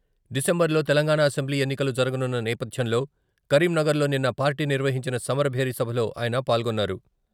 డిసెంబర్లో తెలంగాణ అసెంబ్లీ ఎన్నికలు జరగనున్న నేపధ్యంలో కరీంనగర్లో నిన్న పార్టీ నిర్వహించిన సమరభేరి సభలో ఆయన పాల్గొన్నారు.